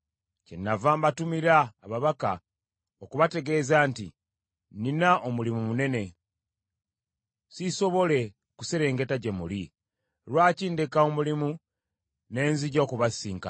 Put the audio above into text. Kyennava mbatumira ababaka okubategeeza nti, “Nnina omulimu munene, siisobole kuserengeta gye muli. Lwaki ndeka omulimu ne nzija okubasisinkana?”